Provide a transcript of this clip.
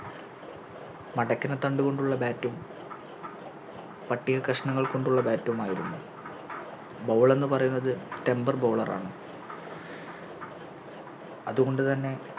മടക്കിനതണ്ടുകൊണ്ടുള്ള Bat ഉം പട്ടികകഷ്ണങ്ങൾ കൊണ്ടുള്ള Bat ഉമായിരുന്നു Ball എന്ന് പറയുന്നത് Temper bowler ആണ് അത് കൊണ്ട്തന്നെ